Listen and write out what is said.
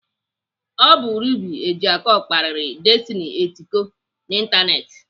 Ọ bụ Ruby Ojiako kparịrị Destiny Etiko n'ịntanetị.